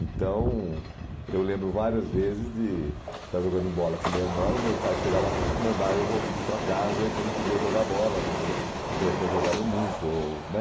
Então, eu lembro várias vezes de estar jogando bola com o meu irmão e meu pai chegar lá e mandar eu vol ir para casa e que eu não podia jogar bola né, ou que eu já tinha jogado muito, ou né?